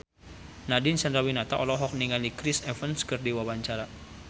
Nadine Chandrawinata olohok ningali Chris Evans keur diwawancara